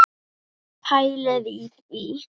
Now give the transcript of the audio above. Pælið í því!